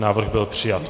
Návrh byl přijat.